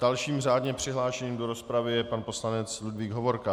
Dalším řádně přihlášeným do rozpravy je pan poslanec Ludvík Hovorka.